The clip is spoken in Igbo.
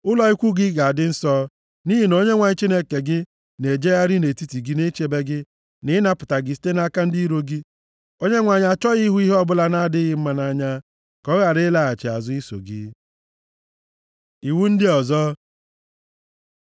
Ụlọ ikwu gị ga-adị nsọ, nʼihi na Onyenwe anyị Chineke gị na-ejegharị nʼetiti gị ichebe gị, na ịnapụta gị site nʼaka ndị iro gị. Onyenwe anyị achọghị ihu ihe ọbụla na-adịghị mma nʼanya, ka ọ ghara ịlaghachi azụ iso gị. Iwu ndị ọzọ